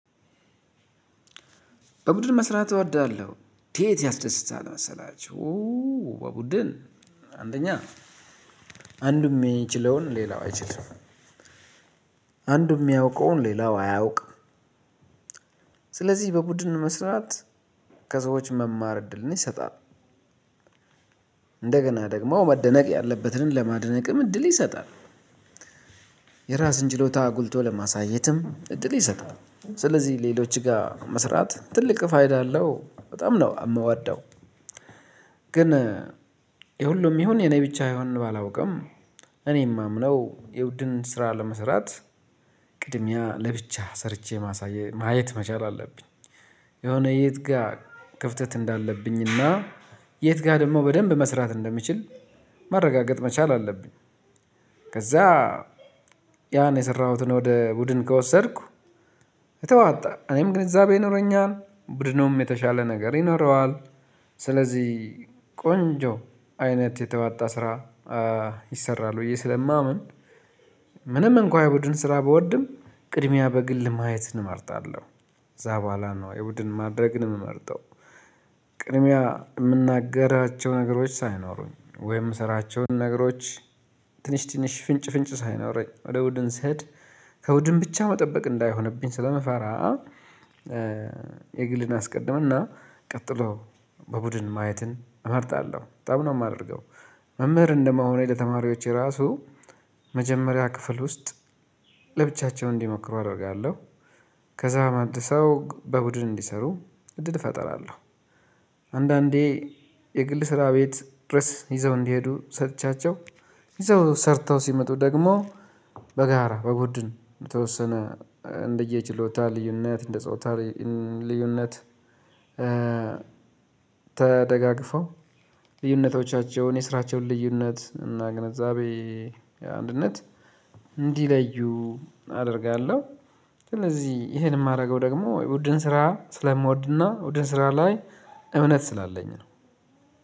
በቡድን መስራት እወዳለሁ እንዴት ያስደስታል መሰላችሁ? በቡድን አንደኛ አንዱም የሚችለውን ሌላው አይችልም አንዱም የሚያውቀውን ሌላው አያውቅም። ስለዚህ በቡድን መስራት ከሰዎች መማር እድልን ይሰጣል። እንደገና ደግሞ መደነቅ ያለበትን ለማድነቅም እድል ይሰጣል። የራስን ችሎታ አጉልቶ ለማሳየትም እድል ይሰጣል ስለዚህ ሌሎች ጋር መስራት ትልቅ ፋይዳ አለው በጣም ነው የምወደው። ግን የሁሉም ይሁን የኔ ብቻ አይሆንም ባላውቅም እኔም የማምነው የቡድን ስራ ለመስራት ቅድሚያ ለብቻ ሰርቼ ማሳየት ማየት መቻል አለብኝ። የሆነ የት ጋር ክፍተት እንዳለብኝና የት ጋር ደግሞ በደንብ መስራት እንደምችል ማረጋገጥ መቻል አለብኝ። ከዛ ያን የሰራሁትን ወደ ቡድን ከወሰድኩ የተዋጣ እኔም ግንዛቤ ይኖረኛል ቡድኑም የተሻለ ነገር ይኖረዋል። ስለዚህ ቆንጆ አይነት የተዋጣ ስራ ይሰራል ብዬ ስለማምን። ምንም እንኳን የቡድን ስራ ብወድም ቅድሚያ በግል ማየትን እመርጣለሁ። እዛ በኋላ ነው የቡድን ማድረግን የምመርጠው። ቅድሚያ የምናገራቸው ነገሮች ሳይኖሩኝ ወይም የምሰራቸውን ነገሮች ትንሽ ትንሽ ፍንጭ ፍንጭ ሳይኖረኝ ወደ ቡድን ስሄድ ከቡድን ብቻ መጠበቅ እንዳይሆንብኝ ስለምፈራ። የግልን አስቀድም እና ቀጥሎ በቡድን ማየትን እመርጣለሁ በጣም ነው የማደርገው። መምህር እንደመሆኔ ለተማሪዎቼ ራሱ መጀመሪያ ክፍል ውስጥ ለብቻቸው እንዲሞክሩ አደርጋለሁ። ከዛ መልሰው በቡድን እንዲሰሩ እድል እፈጥራለሁ። አንዳንዴ የግል ስራ ቤት ድረስ ይዘው እንዲሄዱ ሰጥቻቸው ይዘው ሰርተው ሲመጡ ደግሞ በጋራ በቡድን በተወሰነ እንደየችሎታ ልዩነት እንደጾታ ልዩነት ተደጋግፈው ልዩነቶቻቸውን የስራቸውን ልዩነት እና ግንዛቤ አንድነት እንዲለዩ አደርጋለሁ። ስለዚህ ይሄን የማደርገው ደግሞ የቡድን ስራ ስለምወድና ቡድን ስራ ላይ እምነት ስላለኝ ነው።